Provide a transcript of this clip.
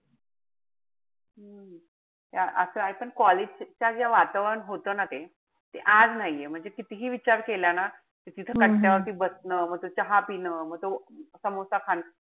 ते असं आहे पण college च जे वातावरण होत ना ते ते आज नाहीये. ते कितीही विचार केला ना. त तिथं कट्ट्यावरती बसलं ना. म तो चहा पिणं. म तो समोसा खाणं.